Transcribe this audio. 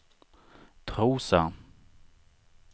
Trosa